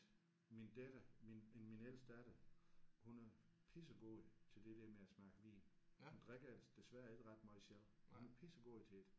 Min datter min min ældste datter hun er pissegod til det der med at smage vin. Hun drikker ellers desværre ikke ret meget selv hun er pissegod til det